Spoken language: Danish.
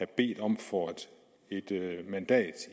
bedt om for et mandat